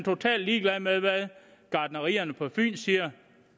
totalt ligeglad med hvad gartnerierne på fyn siger